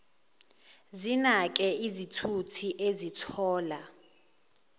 zinake izithuthi ezithola